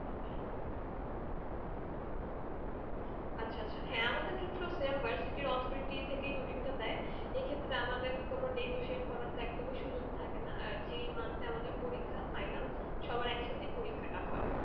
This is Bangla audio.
আচ্ছা আচ্ছা হ্যাঁ আমাদের ক্ষেত্রেও same versity র authority থেকেই routine টা দেয় এ ক্ষেত্রে আমাদের কোনো negotiate করার তো একদমই সুযোগ থাকে না আর যেই month এ আমাদের পরীক্ষা final সবার একসাথেই পরীক্ষাটা হয়ে